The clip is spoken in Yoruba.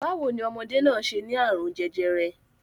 Báwo ní ọmọdé náà ṣe ní àrùn jẹjẹrẹ?